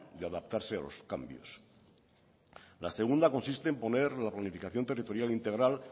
de adaptarse a los cambios la segunda consiste en poner la planificación territorial integral